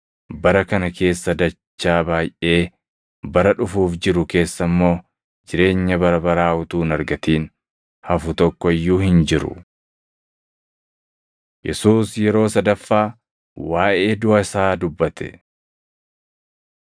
bara kana keessa dachaa baayʼee, bara dhufuuf jiru keessa immoo jireenya bara baraa utuu hin argatin hafu tokko iyyuu hin jiru.” Yesuus Yeroo Sadaffaa Waaʼee Duʼa Isaa Dubbate 18:31‑33 kwf – Mat 20:17‑19; Mar 10:32‑34